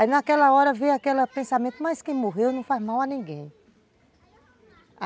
Aí naquela hora veio aquele pensamento, mas quem morreu não faz mal a ninguém.